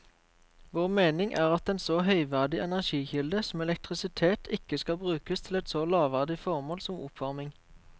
Vår mening er at en så høyverdig energikilde som elektrisitet ikke skal brukes til et så lavverdig formål som oppvarming.